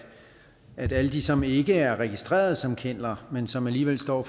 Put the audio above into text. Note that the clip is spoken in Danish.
at alle de som ikke er registreret som kenneler men som alligevel står